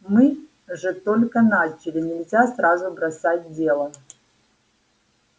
мы же только начали нельзя сразу бросать дело